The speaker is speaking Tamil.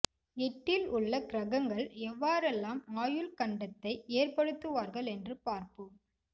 எட்டில் உள்ள கிரகங்கள் எவ்வாறெல்லாம் ஆயுள் கண்டத்தை ஏற்படுத்துவார்கள் என்று பார்ப்போம்